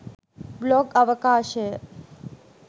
blog අවකාශය